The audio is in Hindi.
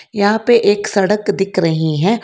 यहां पे एक सड़क दिख रही हैं।